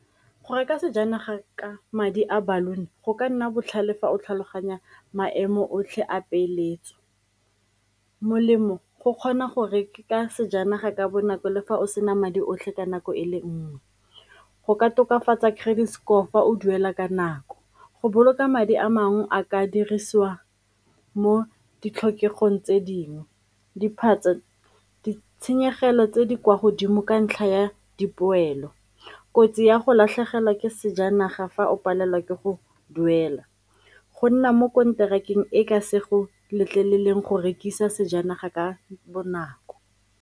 Go reka sejanaga ka madi a baloon-i go ka nna botlhale fa o tlhaloganya maemo otlhe a peeletso. Molemo go kgona go reka sejanaga ka bonako le fa o sena madi otlhe ka nako e le nnye, go ka tokafatsa credit score fa o duela ka nako, go boloka madi a mangwe a ka dirisiwa mo ditlhokegong tse dingwe, ditshenyegelo tse di kwa godimo ka ntlha ya dipoelo, kotsi ya go latlhegelwa ke sejanaga fa o palelwa ke go duela, go nna mo konterakeng e e ka se go letleleleng go rekisa sejanaga ka bonako.